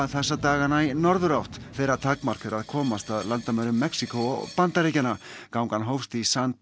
þessa dagana í norðurátt þeirra takmark er að komast að landamærum Mexíkó og Bandaríkjanna gangan hófst í San